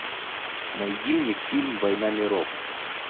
найди мне фильм война миров